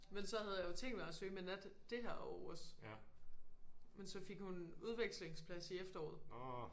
Men så havde jeg jo tænkt mig at søge med nat det her år også men så fik hun udvekslingsplads i efteråret